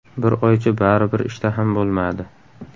Bir oycha baribir ishtaham bo‘lmadi.